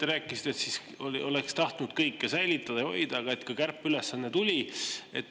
Te rääkisite, et oleks tahtnud kõike säilitada ja hoida, aga kärpeülesanne tuli.